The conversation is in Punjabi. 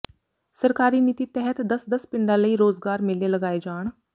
ਸਰਕਾਰੀ ਨੀਤੀ ਤਹਿਤ ਦਸ ਦਸ ਪਿੰਡਾਂ ਲਈ ਰੋਜ਼ਗਾਰ ਮੇਲੇ ਲਗਾਏ ਜਾਣ